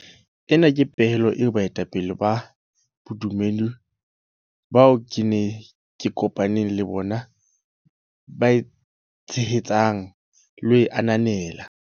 Ena ke pehelo eo baetapele ba bodumedi bao ke kopa neng le bona ba e tshehetsang le ho e ananela.